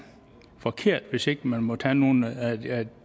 forkert hvis ikke de må tage nogle af